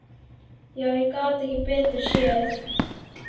Já, ég gat ekki betur séð.